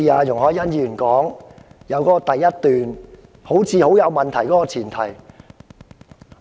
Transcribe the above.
容海恩議員所提議案的第一點似乎基於有問題的前設。